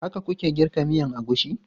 Haka ku ke girka miyan agushi?